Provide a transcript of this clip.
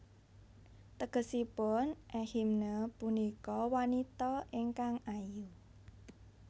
Tegesipun Ehime punika wanita ingkang ayu